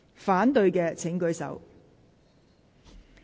反對的請舉手。